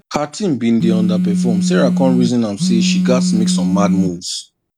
her team bin dey underperform sarah come reason am say she gats make some mad moves